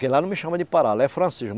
Que lá não me chama de Pará, lá é